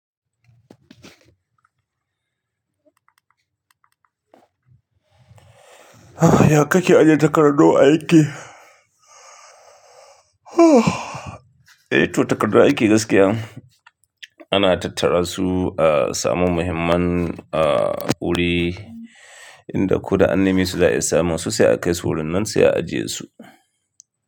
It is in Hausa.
Ya kake ajiye takardu a aiki? Eh toh takardun aiki gaskiya ana tattara su a saman muhimman, uh, wuri inda ko da annami su za'a iya samu su sai a kai su wurin nan sai a ajiye su.